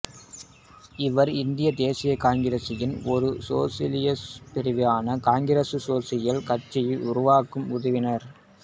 இவர் இந்திய தேசிய காங்கிரசின் ஒரு சோசலிச பிரிவான காங்கிரஸ் சோசலிச கட்சியை உருவாக்க உதவினார்